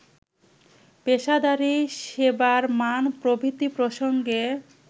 পেশাদারি, সেবার মান প্রভৃতি প্রসঙ্গে